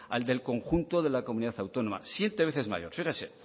al del conjunto de la comunidad autónoma siete veces mayor fíjese